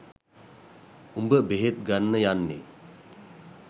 උඹ බෙහෙත් ගන්න යන්නේ